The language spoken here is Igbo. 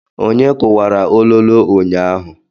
Onye kuwara ololo ụnyaahụ?